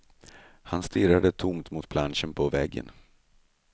Han stirrade tomt mot planschen på väggen.